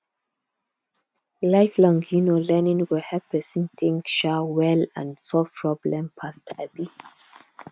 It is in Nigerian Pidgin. lifelong um learning go help person think um well and solve problem fast um